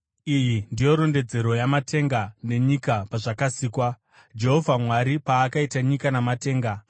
Iyi ndiyo rondedzero yamatenga nenyika pazvakasikwa. Jehovha Mwari paakaita nyika namatenga,